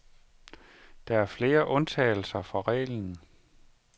Der er flere undtagelser fra reglen.